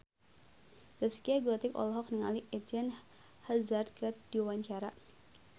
Zaskia Gotik olohok ningali Eden Hazard keur diwawancara